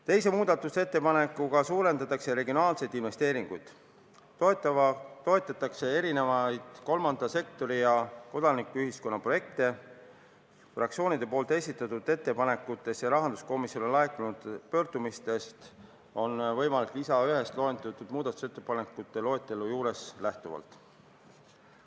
Teise muudatusettepanekuga suurendatakse regionaalseid investeeringuid, toetatakse erinevaid kolmanda sektori ja kodanikuühiskonna projekte fraktsioonide esitatud ettepanekutest ja rahanduskomisjoni laekunud pöördumistest lähtuvalt.